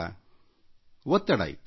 ನಿಮಗೆ ಒತ್ತಡ ಇತ್ತು